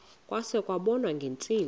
kwase kubonwa ngeentsimbi